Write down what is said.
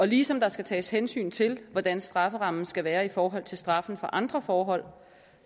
ligesom der skal tages hensyn til hvordan strafferammen skal være i forhold til straffen for andre forhold